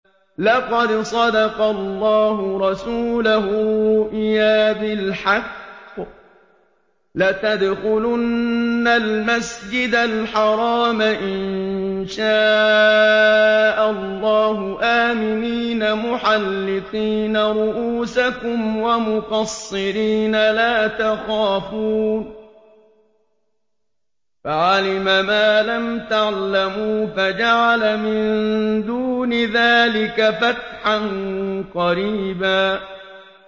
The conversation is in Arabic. لَّقَدْ صَدَقَ اللَّهُ رَسُولَهُ الرُّؤْيَا بِالْحَقِّ ۖ لَتَدْخُلُنَّ الْمَسْجِدَ الْحَرَامَ إِن شَاءَ اللَّهُ آمِنِينَ مُحَلِّقِينَ رُءُوسَكُمْ وَمُقَصِّرِينَ لَا تَخَافُونَ ۖ فَعَلِمَ مَا لَمْ تَعْلَمُوا فَجَعَلَ مِن دُونِ ذَٰلِكَ فَتْحًا قَرِيبًا